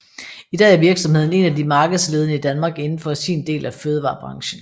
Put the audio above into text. I dag er virksomheden en af de markedsledende i Danmark indenfor sin del af fødevarebranchen